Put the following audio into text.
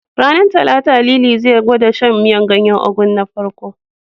Ranar Talata, Lili zai fara gwada shan miyar ganyen Ugu na farko.